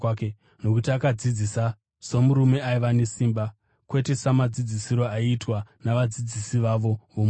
nokuti akadzidzisa somurume aiva nesimba kwete samadzidzisiro aiitwa navadzidzisi vavo vomurayiro.